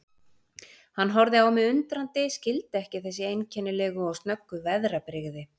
Hann horfði á mig undrandi, skildi ekki þessi einkennilegu og snöggu veðrabrigði.